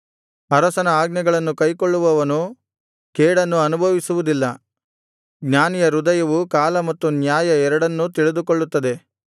ಅರಸನ ಆಜ್ಞೆಗಳನ್ನು ಕೈಕೊಳ್ಳುವವನು ಕೇಡನ್ನು ಅನುಭವಿಸುವುದಿಲ್ಲ ಜ್ಞಾನಿಯ ಹೃದಯವು ಕಾಲ ಮತ್ತು ನ್ಯಾಯ ಎರಡನ್ನು ತಿಳಿದುಕೊಳ್ಳುತ್ತದೆ